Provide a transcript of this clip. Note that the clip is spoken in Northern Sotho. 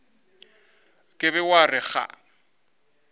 ka be wa re ga